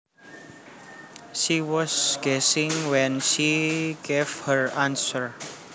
She was guessing when she gave her answer